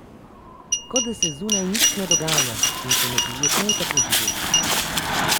Kot da se zunaj nič ne dogaja, in še neprijetno je tako živeti.